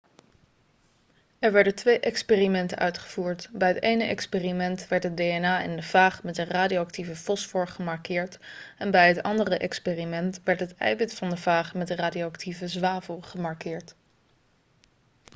er werden twee experimenten uitgevoerd bij het ene experiment werd het dna in de faag met een radioactieve fosfor gemarkeerd en bij het andere experiment werd het eiwit van de faag met radioactieve zwavel gemarkeerd